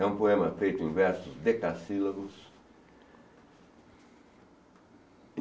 É um poema feito em versos decacílagos.